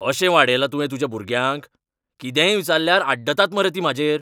अशें वाडयलां तुवें तुज्या भुरग्यांक? कितेंय विचारल्यार आड्डतात मरे तीं म्हाजेर .